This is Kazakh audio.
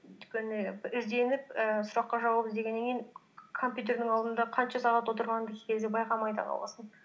өйткені ізденіп ііі сұраққа жауап іздегеннен кейін компьютердің алдында қанша сағат отырғаныңды кей кезде байқамай да қаласың